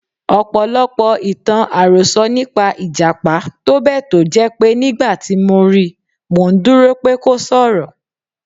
Ọ̀pọ̀lọpọ̀ ìtàn-àròsọ nípa Ìjàpá tó bẹ̀ tó jẹ́ pé nígbàtí mo ri, mò ńdúró pé kó s'ọ̀rọ̀.